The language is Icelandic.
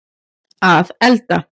að elda